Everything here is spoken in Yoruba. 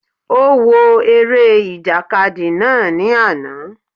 Ó wo eré ìjàkadì náà ní àná